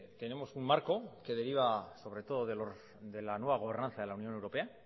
tenemos un marco que deriva sobre todo de la nueva gobernanza de la unión europea